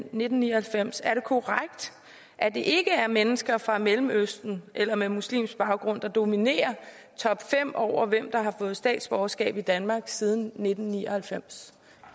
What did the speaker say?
nitten ni og halvfems er det korrekt at det ikke er mennesker fra mellemøsten eller med muslimsk baggrund der dominerer topfem over hvem der har fået statsborgerskab i danmark siden nitten ni og halvfems